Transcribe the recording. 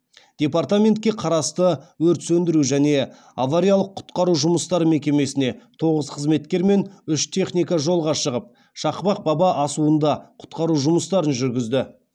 департаментке қарасты өрт сөндіру және авариялық құтқару жұмыстары мекемесіне тоғыз қызметкер мен үш техника жолға шығып шақпақ баба асуында құтқару жұмыстарын жүргізді